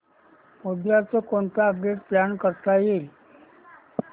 उद्या कोणतं update plan करता येईल